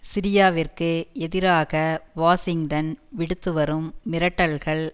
சிரியாவிற்கு எதிராக வாஷிங்டன் விடுத்து வரும் மிரட்டல்கள்